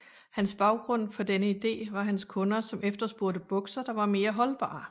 Hans baggrund for denne idé var hans kunder som efterspurgte bukser der var mere holdbare